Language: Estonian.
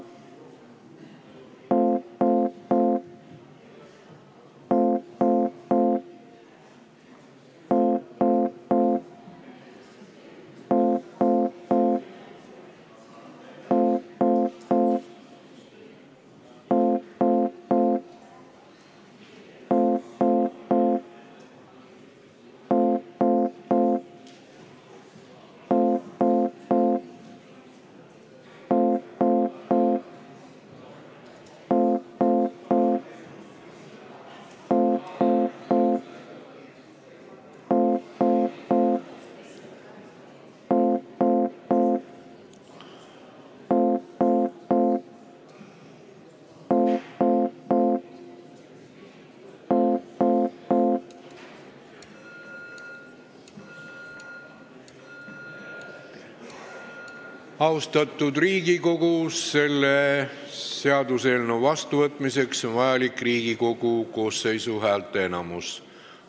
Austatud Riigikogu, selle seaduseelnõu vastuvõtmiseks on vajalik Riigikogu koosseisu häälteenamus.